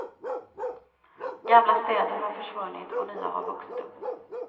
Gamla städer har försvunnit och nya har vuxit upp.